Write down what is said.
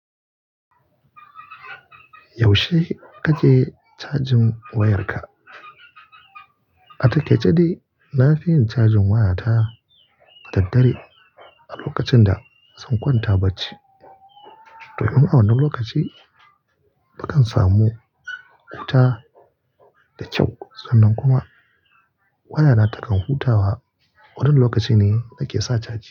Yaushe kake cajin wayarka? A takaice dai na fi yin cajin waya ta da dare a lokacin da zan kwanta ba ci. To, in a wannan lokaci na kan samu wuta da kyau sannan kuma wayana ta kan hutawa. Wannan lokaci ne nake sa caji.